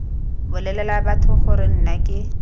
bolelela batho gore nna ke